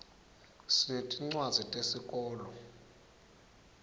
sinetincwadzi tesikolo